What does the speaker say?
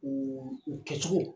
U u kɛcogo